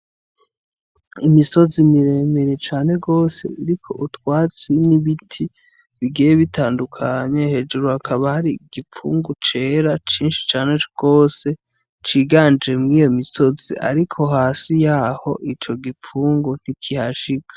Imisozi mire mire cane gose iriko utwatsi n' ibiti bigiye bitandukanye hejuru hakaba hari igipfungu cera cinshi cane gose ciganje mwiyo misozi ariko hasi yaho ico gipfungu ntikihashika.